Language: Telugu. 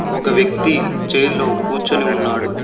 ఒక వ్యక్తి చైర్ లో కూర్చొని ఉన్నాడు.